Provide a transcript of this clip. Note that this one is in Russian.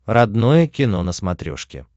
родное кино на смотрешке